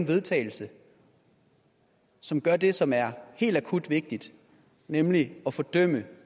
vedtagelse som gør det som er helt akut vigtigt nemlig at fordømme